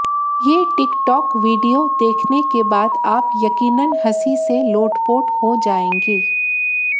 ये TikTok video देखने के बाद आप यकीनन हंसी से लोटपोट हो जाएंगे